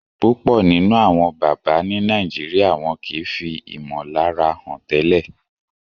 púpọ nínú Àwọn bàbá ní Nàìjíríà wón kí fí imolara hàn tẹlẹ